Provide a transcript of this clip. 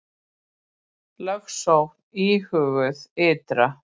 Lögsókn íhuguð ytra